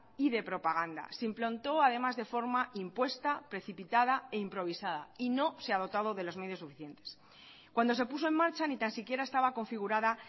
y de propaganda se implantó además de forma impuesta precipitada e improvisada y no se ha dotado de los medios suficientes cuando se puso en marcha ni tan siquiera estaba configurada